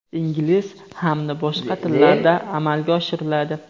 ingliz hamda boshqa tillarda amalga oshiriladi.